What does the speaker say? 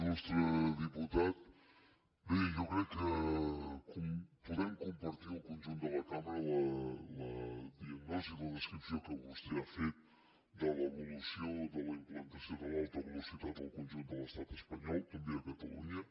ilbé jo crec que podem compartir el conjunt de la cambra la diagnosi la descripció que vostè ha fet de l’evolució de la implantació de l’alta velocitat en el conjunt de l’estat espanyol també a catalunya